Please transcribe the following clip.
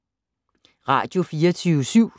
Radio24syv